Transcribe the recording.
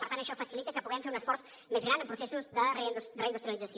per tant això facilita que puguem fer un esforç més gran en processos de reindustrialització